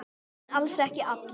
En alls ekki allir.